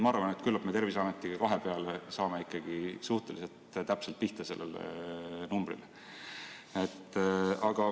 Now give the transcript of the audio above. Ma arvan, et küllap me Terviseametiga kahe peale saame ikkagi suhteliselt täpselt pihta sellele numbrile.